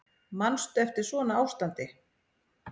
Manstu eftir svona ástandi?